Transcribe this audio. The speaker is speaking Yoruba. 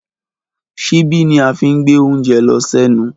Ṣibi ni a fí ń gbẹ oúnjẹ lọ sẹnu.